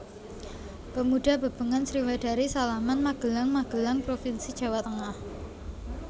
Pemuda Bebengan Sriwedari Salaman Magelang Magelang provinsi Jawa Tengah